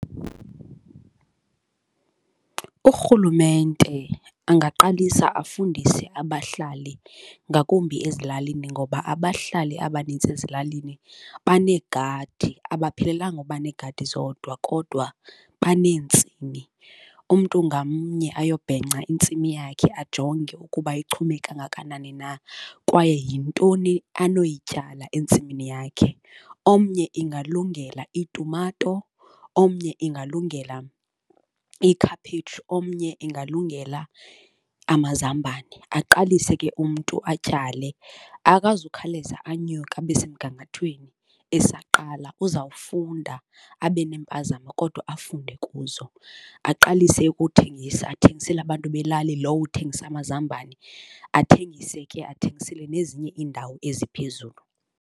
Urhulumente angaqalisa afundise abahlali ngakumbi ezilalini ngoba abahlali abanintsi ezilalini baneegadi, abaphelelanga uba neegadi zodwa kodwa baneentsimi. Umntu ngamnye ayobhenca intsimi yakhe, ajonge ukuba ichume kangakanani na kwaye yintoni anoyityala entsimini yakhe. Omnye ingalungela iitumato, omnye ingalungela ikhaphetshu, omnye ingalungela amazambane, aqalise ke umntu atyale. Akazukhawuleza anyuke abe semgangathweni esaqala, uzawufunda abe neempamzamo kodwa afunde kuzo. Aqalise ukuthengisa athengisele abantu belali lowo uthengisa amazambane, athengise ke athengisele nezinye iindawo eziphezulu.